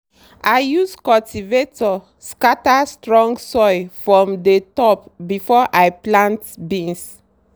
i use cultivator scatter strong soil form dey top before i plant beans.